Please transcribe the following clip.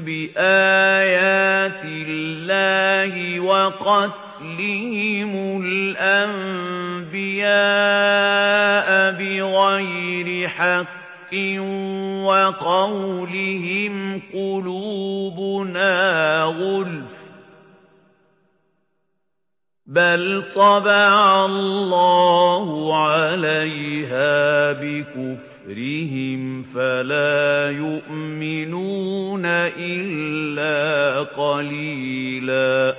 بِآيَاتِ اللَّهِ وَقَتْلِهِمُ الْأَنبِيَاءَ بِغَيْرِ حَقٍّ وَقَوْلِهِمْ قُلُوبُنَا غُلْفٌ ۚ بَلْ طَبَعَ اللَّهُ عَلَيْهَا بِكُفْرِهِمْ فَلَا يُؤْمِنُونَ إِلَّا قَلِيلًا